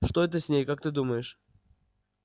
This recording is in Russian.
что это с ней как ты думаешь